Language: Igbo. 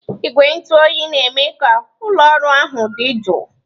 Igwe ntụ oyi na-eme ka ụlọ ọrụ ahụ dị jụụ.